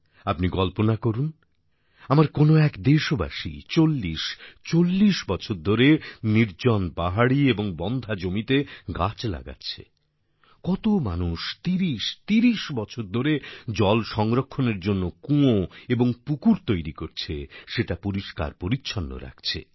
আপনি কল্পনা করুন আমার কোন এক দেশবাসী ৪০৪০ বছর ধরে নির্জন পাহাড়ি এবং বন্ধ্যা জমিতে গাছ লাগাচ্ছে কত মানুষ ৩০৩০ বছর ধরে জল সংরক্ষণের জন্য কুঁয়ো এবং পুকুর তৈরি করছে সেটা পরিষ্কার পরিচ্ছন্ন রাখছে